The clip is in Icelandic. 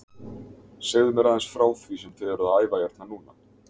Segðu mér aðeins frá því sem þið eruð að æfa hérna núna?